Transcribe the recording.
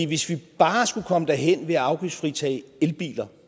hvis vi bare skulle komme derhen ved at afgiftsfritage elbiler